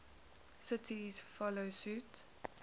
cities follow suit